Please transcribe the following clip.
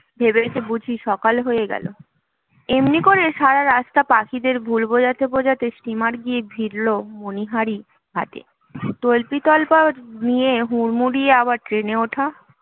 ভেবেছে বুঝি সকাল হয়ে গেল এমনি করলে সারা রাস্তা পাখিদের ভুল বোঝাতে বোঝাতে steamer গিয়ে ভিড়লো মনীহারি ঘাটে তাল্পিতল্পা নিয়ে হুড়মুড়িয়ে আবার train এ ওঠা